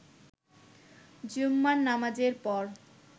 জুম্মার নামাজের পর